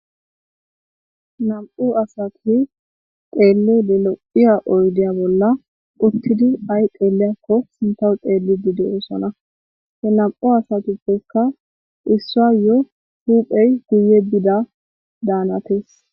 nam7u asati xeelli le lo7iya oydeya bolla uttidi ay xeeliyakko sintaw xeelli bide oosona he nam7u asatippeykka issua yo huuphey guye bida daanatis